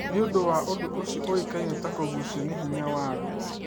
Nĩundũ wa ũndũ ũcĩo ũĩkaĩne ta kugũcio nĩ hĩnya wa thĩĩ